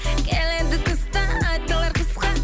келеді тыстан айтылар қысқа